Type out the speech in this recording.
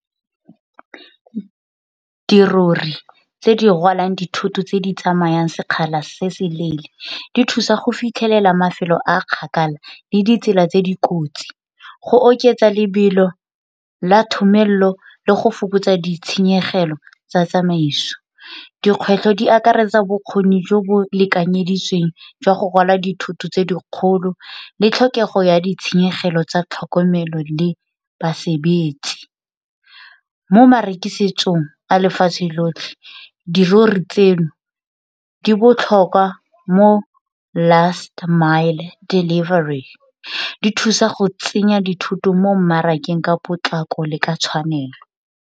Dirori tse di rwalang dithoto tse di tsamayang sekgala se se leele di thusa go fitlhelela mafelo a a kgakala le ditsela tse di kotsi. Go oketsa lebelo la le go fokotsa ditshenyegelo tsa tsamaiso, dikgwetlho di akaretsa bokgoni jo bo lekanyeditsweng jwa go rwala dithoto tse dikgolo le tlhokego ya ditshenyegelo tsa tlhokomelo le basebetsi. Mo marekisetsong a lefatshe lotlhe dirori tseno di botlhokwa mo last mile delivery, di thusa go tsenya dithoto mo mmarakeng ka potlako le ka tshwanelo.